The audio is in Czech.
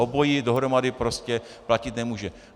Obojí dohromady prostě platit nemůže.